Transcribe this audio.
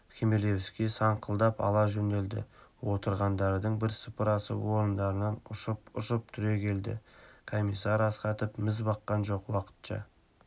хмелевский саңқылдап ала жөнелді отырғандардың бірсыпырасы орындарынан ұшып-ұшып түрегелді комиссар астахов міз баққан жоқ уақытша